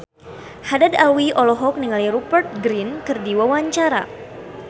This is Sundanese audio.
Haddad Alwi olohok ningali Rupert Grin keur diwawancara